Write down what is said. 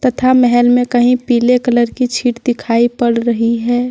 तथा महल में कहीं पीले कलर की छीट दिखाई पड़ रही है।